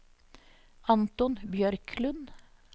Anton Bjørklund